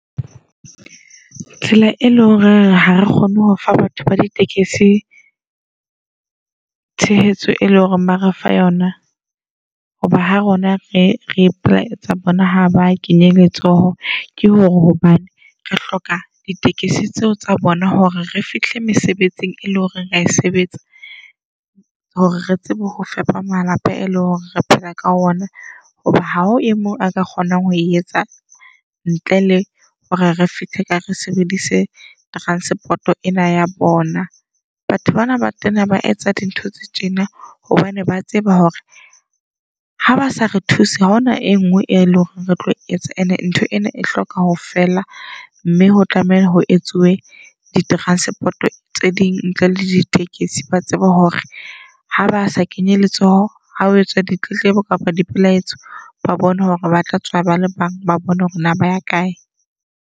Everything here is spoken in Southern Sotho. Tsela e leng hore ha re kgone hofa batho ba ditekesi tshehetso, e leng hore ba re fa yona. Hoba ha rona re re ipelaetsa bona ha ba kenye letsoho. Ke hore hobane re hloka ditekisi tseo tsa bona hore re fihle mesebetsing e leng hore rea e sebetsa hore re tsebe ho fepa malapa e leng hore re phela ka ona. Hoba ha o e mo a ka kgonang ho etsang ntle le hore re fihle ka re sebedise transport-o ena ya bona. Batho bana ba tena ba etsa dintho tse tjena hobane ba tseba hore habasa re thuse ha hona e ngwe e leng hore re tlo etsa. And-e ntho ena e hloka hofela mme ho tlameha ho etsuwe di-transport tse ding ntle le ditekesi. Ba tsebe hore ha ba sa kenye letsoho ha o etsa ditletlebo kapa boipelaetso. Ba bone hore ba tlatswa ba le bang ba bone hore na ba ya kae.